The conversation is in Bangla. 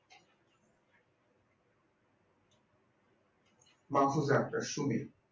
পার্থ চ্যাপ্টার সুমিত